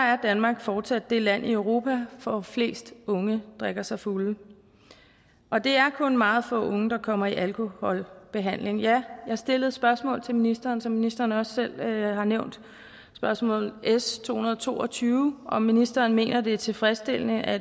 er danmark fortsat det land i europa hvor flest unge drikker sig fulde og det er kun meget få unge der kommer i alkoholbehandling jeg har stillet et spørgsmål til ministeren som ministeren også selv nævnte spørgsmål s to hundrede og to og tyve om hvorvidt ministeren mener det er tilfredsstillende at